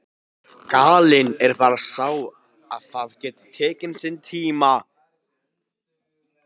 Gallinn er bara sá að það getur tekið sinn tíma.